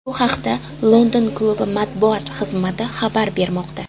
Bu haqida London klubi matbuot xizmati xabar bermoqda .